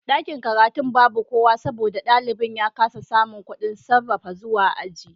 Dakin karatun babu kowa saboda dalibi ya kasa samun kudin safara zuwa aji